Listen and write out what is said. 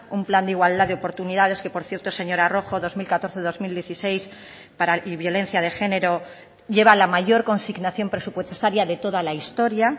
un plan de igualdad de oportunidades que por cierto señora rojo dos mil catorce dos mil dieciséis para y violencia de género lleva la mayor consignación presupuestaria de toda la historia